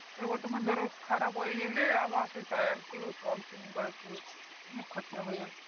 এবার তোমার ধরো খারাপ হয়ে গেলে আবার সে টায়ার টিউ অনেক খরচা হয়ে যাচ্ছে